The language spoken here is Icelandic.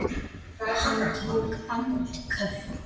Hann tók andköf.